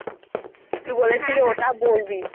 তুই বলেছিলি ওটা বলবি,